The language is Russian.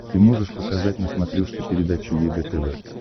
ты можешь показать на смотрешке передачу егэ тв